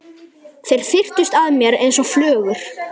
Þeir þyrptust að mér einsog flugur.